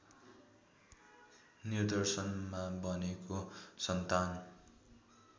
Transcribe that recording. निर्देशनमा बनेको सन्तान